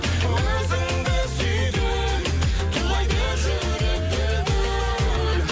өзіңді сүйген тулайды жүрек дүл дүл